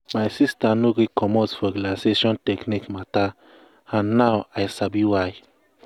my sister no gree commot for relaxation technique matter and now i sabi why.